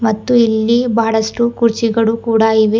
ಮತ್ತು ಇಲ್ಲಿ ಬಹಳಷ್ಟು ಕುರ್ಚಿಗಳು ಕೂಡ ಇವೆ.